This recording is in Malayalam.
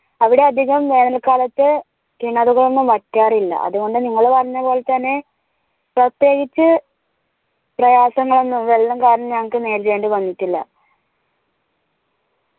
അവിടെ അധികം വേനൽ കാലത്ത് കിണറുകൾ ഒന്നും വറ്റാറില്ല അതുകൊണ്ടു നിങ്ങള് പറഞ്ഞ പോലെ തന്നെ പ്രത്യേകിച്ച് പ്രയാസങ്ങൾ ഒന്നും വെള്ളം കാരണം ഞങ്ങൾക്ക് നേരിടേണ്ടി വന്നിട്ടില്ല